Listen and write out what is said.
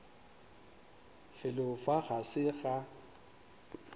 felo fa ga se ga